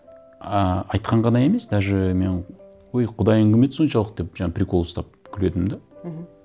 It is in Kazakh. ыыы айтқан ғана емес даже мен өй құдайың кім еді соншалық деп жаңағы прикол ұстап күлетінмін де мхм